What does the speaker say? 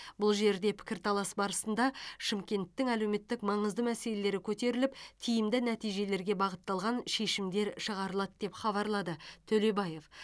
бұл жерде пікірталас барысында шымкенттің әлеуметтік маңызды мәселелері көтеріліп тиімді нәтижелерге бағытталған шешімдер шығарылады деп хабарлады төлебаев